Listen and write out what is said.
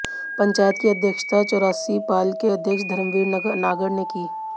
पंचायत की अध्यक्षता चौरासी पाल के अध्यक्ष धर्मवीर नागर ने की